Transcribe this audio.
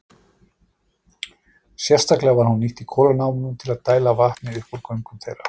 Sérstaklega var hún nýtt í kolanámum til að dæla vatni upp úr göngum þeirra.